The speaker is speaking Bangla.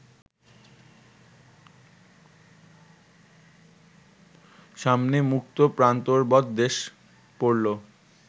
সামনে মুক্ত প্রান্তরবৎ দেশ পড়ল